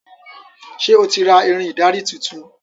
Ṣe o tí ra Irin ìdarí títún?